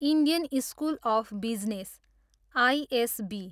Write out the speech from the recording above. Indian school of business, ISB